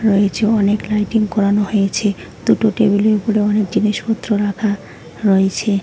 রয়েছে অনেক লাইটিং করানো হয়েছে দুটো টেবিলের উপরে অনেক জিনিসপত্র রাখা রয়েছে।